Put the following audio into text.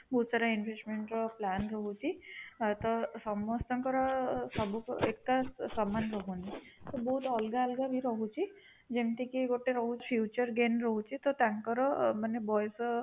ବହୁତ ସାରା investment ର plan ରହୁଛି ପ୍ରାୟତଃ ସମସ୍ତଙ୍କର ସବୁ ଏକା ସମାନ ନୁହଁ ତ ବହୁତ ଅଲଗା ଅଲଗା ବି ରହୁଛି ଯେମିତି କି ଗୋଟେ ରହୁଛି future gain ରହୁଛି ତ ତାଙ୍କର ମାନେ ବୟସ